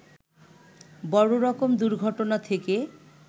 বড় রকম দুর্ঘটনা থেকে